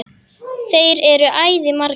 Þeir eru æði margir.